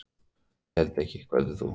Ég held ekki, hvað heldur þú?